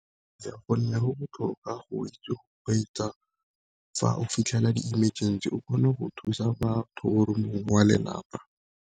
Ka gonne go botlhokwa go itse go kgweetsa, fa o fitlhela di-emergency o kgone go thusa batho or mongwe wa lelapa.